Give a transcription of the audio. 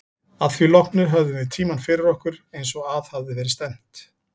Að því loknu höfðum við tímann fyrir okkur, eins og að hafði verið stefnt.